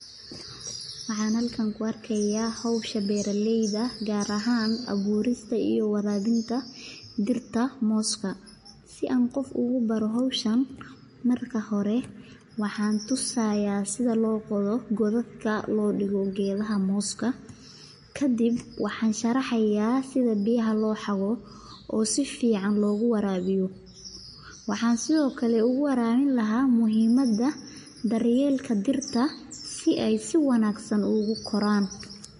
Waxaan halkan ku arkaaya howsha beeraleyda gaar ahaan abuurista iyo waraabinta mooska, si aan qof ubaro howshan marka hore waxaan tusayaa sida loo qodo godad loo digo geedaha mooska, kadib waxaan sharaxaya sida biyaha loo xabo oo sifican loogu waraabiyo waxaan sido kale uwarabin lahaa muhimada si aay si wanagsan ukoraan.